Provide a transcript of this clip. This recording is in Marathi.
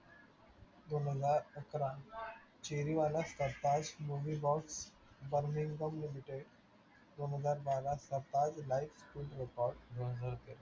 दोनहजार अकरा चेरिवाला भाऊ burnings of limited दोनहजार बारा live full record दोनहजार तेरा